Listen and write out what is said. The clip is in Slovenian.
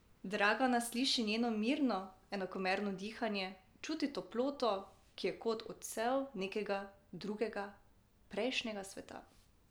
Dragana sliši njeno mirno, enakomerno dihanje, čuti toploto, ki je kot odsev nekega drugega, prejšnjega sveta.